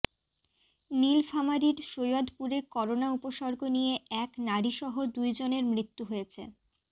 নীলফামারীর সৈয়দপুরে করোনা উপসর্গ নিয়ে এক নারীসহ দুইজনের মৃত্যু হয়েছে